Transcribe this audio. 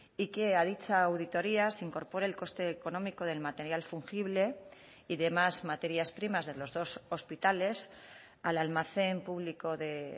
y que a dicha auditoría se incorpore el coste económico del material fungible y demás materias primas de los dos hospitales al almacén público de